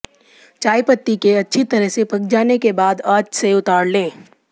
चायपत्ती के अच्छी तरह से पक जाने के बाद आंच से उतार लें